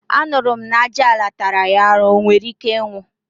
anuru m na ajuala tara ya aru, onwerike inwu